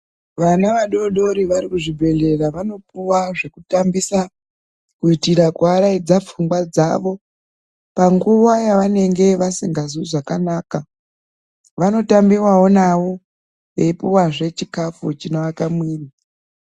Vana vadoodori varikuzvibhehlera vanopuwa zvekutambisa kuitira kuaraidza pfungwa dzavo panguva yavanenge vasingazwi zvakanaka vanotambiwawo navo eipuwa zve chikafu chinoaka muviri